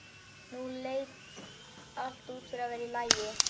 Nú leit allt út fyrir að vera í lagi.